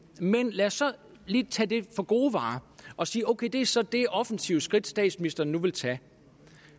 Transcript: men lad os så lige tage det for gode varer og sige ok det er så det offensive skridt statsministeren nu vil tage